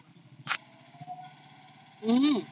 हम्म